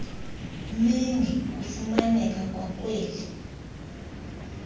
mingi kufumaneka kwaakweli